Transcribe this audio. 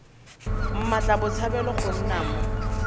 mmatla botshabelo go nna mo